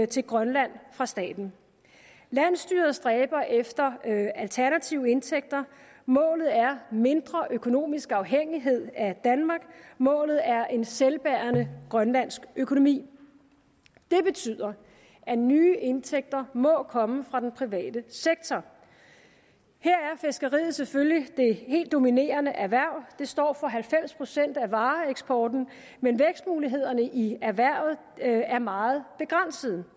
til grønland fra staten landsstyret stræber efter alternative indtægter målet er mindre økonomisk afhængighed af danmark og målet er en selvbærende grønlandsk økonomi det betyder at nye indtægter må komme fra den private sektor her er fiskeriet selvfølgelig det helt dominerende erhverv og står for halvfems procent af vareeksporten men vækstmulighederne i erhvervet er meget begrænsede